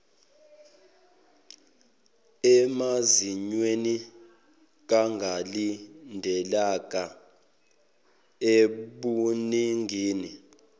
emazinyweni kungalindeleka ebuningini